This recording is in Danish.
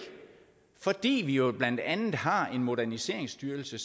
fordi vi jo blandt andet har en moderniseringsstyrelse